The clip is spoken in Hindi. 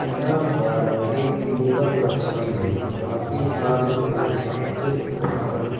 यहाँ पर एक योग कक्षा में काफी सारे लोग एकत्रित होकर